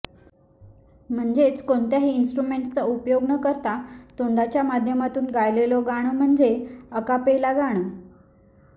म्हणजेच कोणत्याही इंस्ट्रुमेंट्सचा उपयोग न करता तोंडाच्या माध्यमातून गायलेलं गाणं म्हणजे अकापेला गाणं